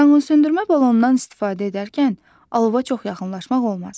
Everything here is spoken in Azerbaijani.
Yanğınsöndürmə balonundan istifadə edərkən alova çox yaxınlaşmaq olmaz.